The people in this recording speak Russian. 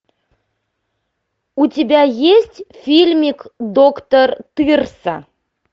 у тебя есть фильмик доктор тырса